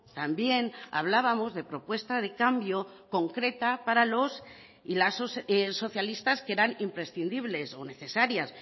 también hablábamos de propuesta de cambio concreta para los y las socialistas que eran imprescindibles o necesarias